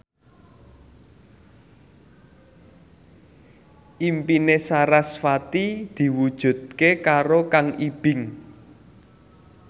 impine sarasvati diwujudke karo Kang Ibing